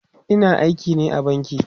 Ina aiki ne a banki